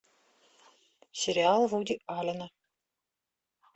сериал вуди аллена